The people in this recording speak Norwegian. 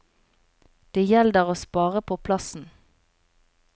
Det gjelder å spare på plassen.